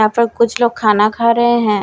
यहां पर कुछ लोग खाना खा रहे हैं।